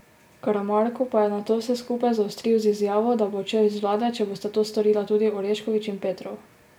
Karamarko pa je nato vse skupaj zaostril z izjavo, da bo odšel iz vlade, če bosta to storila tudi Orešković in Petrov.